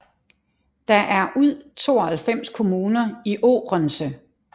Der er Ud 92 kommuner i Ourense